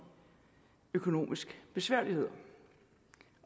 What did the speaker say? økonomiske besværligheder